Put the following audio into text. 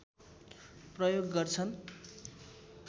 प्रयोग गर्छन्